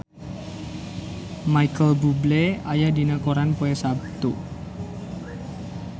Micheal Bubble aya dina koran poe Saptu